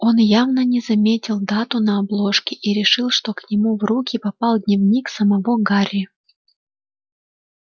он явно не заметил дату на обложке и решил что к нему в руки попал дневник самого гарри